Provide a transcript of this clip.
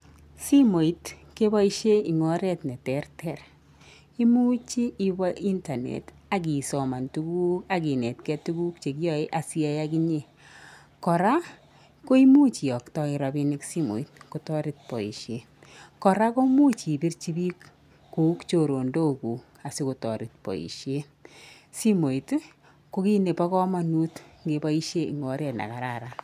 Simoit keboishe en oret neterter, imuch iwee internet cs] akisoma tukuk akiniet gee tukuk chekiyoe asiyai okinyee koraa koimuch iyoktoen rabinik simoit kotoret boishet koraa komuch ipirchi biik kou choronok kuuk sikotoret boishet simoiti kokiit nebo komonut ingepoishen en oret nekararan.